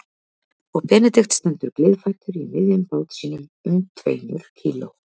Og Benedikt stendur gleiðfættur í miðjum bát sínum um tveimur kíló